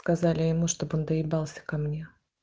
сказали ему чтобы он доебался ко мне